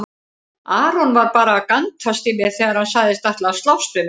Aron var bara að gantast í mér þegar hann sagðist ætla að slást við mig.